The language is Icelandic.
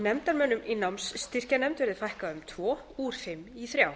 nefndarmönnum í námsstyrkjanefnd verði fækkað um tvo úr fimm í þrjá